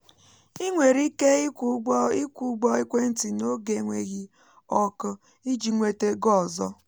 ị nwere ike ịkwụ ụgbọ ịkwụ ụgbọ ekwentị n’oge enweghị ọkụ iji nweta ego ọzọ